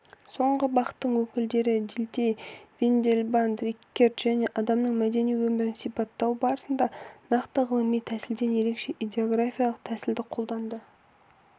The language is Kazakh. соңғы бағыттың өкілдері дильтей виндельбанд риккерт және адамның мәдени өмірін сипаттау барысында нақты ғылыми тәсілден ерекше идеографиялық тәсілді қолданды